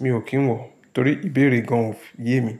Mi ò kí ń wọ̀ torí ìbéèrè gan-an ò yé mi.